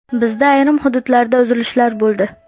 Bizda ayrim hududlarda uzilishlar bo‘ldi.